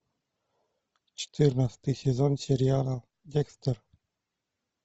четырнадцатый сезон сериала декстер